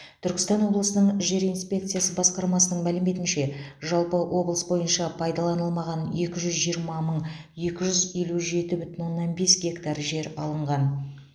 түркістан облысының жер инспекциясы басқармасының мәліметінше жалпы облыс бойынша пайдаланылмаған екі жүз жиырма мың екі жүз елу жеті бүтін оннан бес гектар жер алынған